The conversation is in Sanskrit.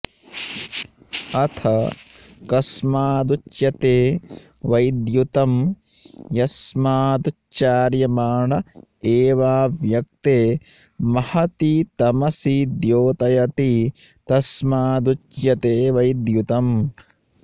अथ कस्मादुच्यते वैद्युतं यस्मादुच्चार्यमाण एवाव्यक्ते महति तमसि द्योतयति तस्मादुच्यते वैद्युतम्